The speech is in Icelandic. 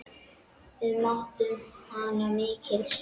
Við mátum hana mikils.